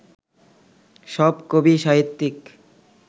সব কবি, সাহিত্যিক